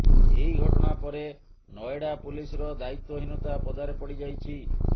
ଏହି ଘଟଣା ପରେ ନଏଡ଼ା ପୁଲିସର ଦାୟିତ୍ବହୀନତା ପଦାରେ ପଡ଼ି ଯାଇଛି